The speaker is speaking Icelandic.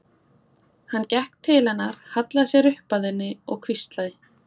Hann gekk til hennar, hallaði sér upp að henni og hvíslaði